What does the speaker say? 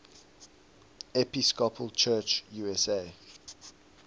episcopal church usa